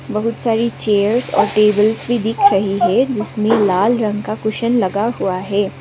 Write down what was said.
बहुत सारी चेयर्स और टेबल्स भी दिख रही है जिसमें लाल रंग का कुशन लगा हुआ है।